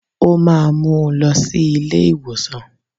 Ó máa mú un lọ sí ilé ìwòsàn